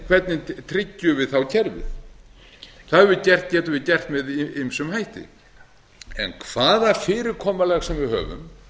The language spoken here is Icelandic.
hvernig tryggjum við þá kerfið það getum við gert með ýmsum hætti en hvaða fyrirkomulag sem við höfum